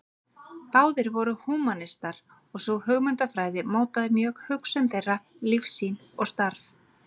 Báðir voru húmanistar og sú hugmyndafræði mótaði mjög hugsun þeirra, lífssýn og starf.